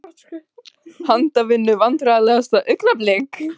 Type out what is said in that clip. Handavinnu Vandræðalegasta augnablik?